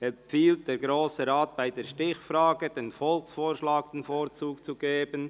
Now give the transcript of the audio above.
empfiehlt der Grosse Rat bei der Stichfrage dem Volksvorschlag den Vorzug zu geben.